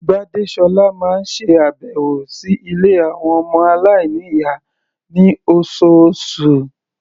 Gbádésọ́lá máa ń ṣe àbẹ̀wò sí ilé àwọn ọmọ aláìníyàá ní oṣooṣù.